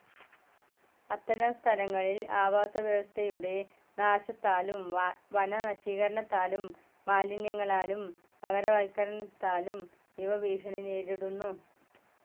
അത്തരം സ്ഥലങ്ങളിൽ ആവാസവ്യവസ്ഥയുടെ നാശത്താലും വനനശീകരണാത്താലും മാലിന്യങ്ങളാലും നഗരവൽക്കരണത്താലും ഇവ ഭീഷണി നേരിടുന്നു.